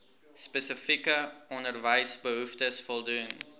spesifieke onderwysbehoeftes voldoen